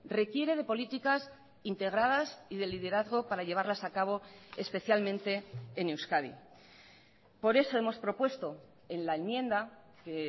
requiere de políticas integradas y de liderazgo para llevarlas a cabo especialmente en euskadi por eso hemos propuesto en la enmienda que